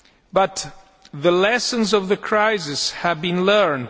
But the lessons of the crisis have been learnt.